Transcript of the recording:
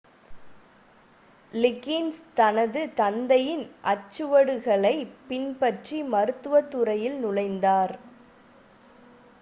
லிகின்ஸ் தனது தந்தையின் அடிச்சுவடுகளைப் பின்பற்றி மருத்துவத் துறையில் நுழைந்தார்